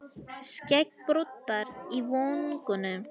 Skeggbroddar í vöngunum.